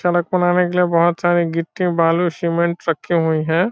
सड़क बनाने के लिए बोहोत सारे गिट्टी बालू सीमेंट रखी हुई है।